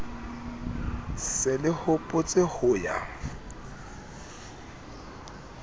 se le hopotse ho ya